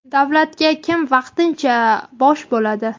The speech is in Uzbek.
Davlatga kim vaqtincha bosh bo‘ladi?.